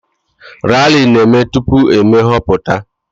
Rali na-eme tupu eme nhọpụta